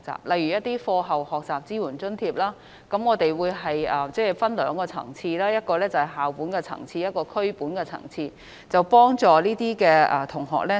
例如在課後學習支援津貼方面，我們會分為兩個層次，其一是校本層次，其二是區本層次，藉以為有關的學生提供協助。